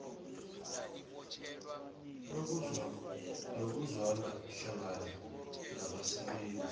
nokuzwana hlangana nabasebenzi